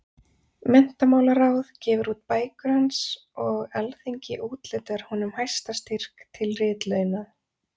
Menntamálaráð gefur út bækur hans og Alþingi úthlutar honum hæsta styrk til ritlauna.